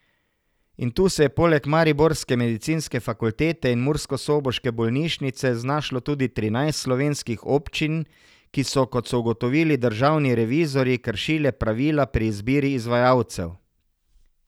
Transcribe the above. In tu se je poleg mariborske medicinske fakultete in murskosoboške bolnišnice znašlo tudi trinajst slovenskih občin, ki so, kot so ugotovili državni revizorji, kršile pravila pri izbiri izvajalcev.